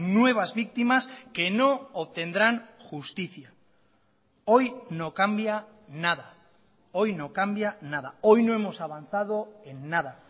nuevas víctimas que no obtendrán justicia hoy no cambia nada hoy no cambia nada hoy no hemos avanzado en nada